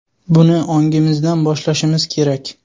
Buni ongimizdan boshlashimiz kerak.